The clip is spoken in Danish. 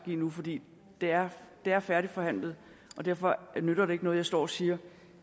give nu for det er er færdigforhandlet og derfor nytter det ikke noget at jeg står og siger